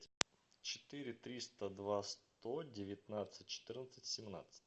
четыре триста два сто девятнадцать четырнадцать семнадцать